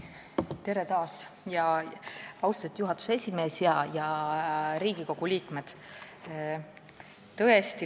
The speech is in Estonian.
Tere taas, austatud juhatuse esimees ja Riigikogu liikmed!